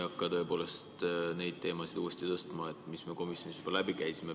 Ma ei hakka tõepoolest neid teemasid uuesti tõstma, mis me komisjonis juba läbi käisime.